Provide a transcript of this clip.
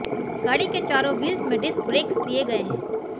गाड़ी के चारों व्हील्स में डिस्क ब्रेक्स दिए गए हैं